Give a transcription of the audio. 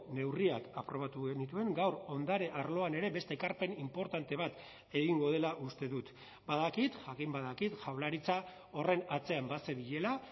neurriak aprobatu genituen gaur ondare arloan ere beste ekarpen inportante bat egingo dela uste dut badakit jakin badakit jaurlaritza horren atzean bazebilela